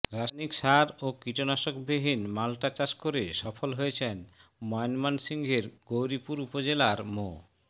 রাসায়নিক সার ও কীটনাশকবিহীন মাল্টা চাষ করে সফল হয়েছেন ময়মনসিংহের গৌরীপুর উপজেলার মো